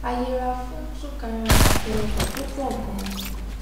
a yẹra fún súnkẹrẹfàkẹrẹ ọkọ tó pò ganan